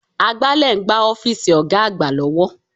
Agbálẹ̀ ń gbá ọ́fíìsì Ọ̀ga àgbà lọ́wọ́